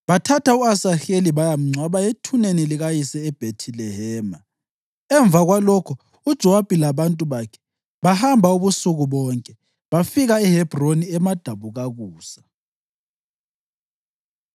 Bathatha u-Asaheli bayamngcwaba ethuneni likayise eBhethilehema. Emva kwalokho uJowabi labantu bakhe bahamba ubusuku bonke bafika eHebhroni emadabukakusa.